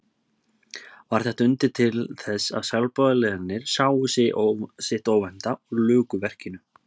Varð þetta undur til þess að sjálfboðaliðarnir sáu sitt óvænna og luku verkinu.